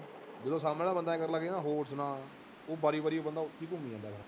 ਜਦੋਂ ਸਾਹਮਣੇ ਵਾਲਾ ਬੰਦਾ ਇਉਂ ਕਰਨ ਲੱਗ ਜਾਏ ਨਾ ਹੋਰ ਸੁਣਾ, ਉਹ ਵਾਰੀ ਵਾਰੀ ਬੰਦਾ ਉੱਥੇ ਹੀ ਘੁੰਮੀ ਜਾਂਦਾ।